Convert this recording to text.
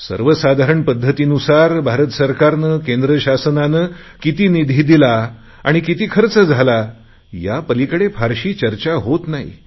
सर्वसाधारण पध्दतीनुसार भारत सरकारने केंद्रशासनाने किती निधी दिला आणि किती खर्च झाला यापलिकडे फारशी चर्चा होत नाही